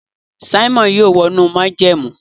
Simon yóò wọ inú májẹ̀mú.